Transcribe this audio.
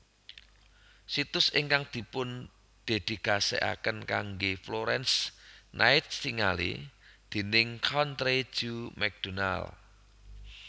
Situs ingkang dipundhedikasikaken kanggé Florence Nightingale déning Country Joe McDonald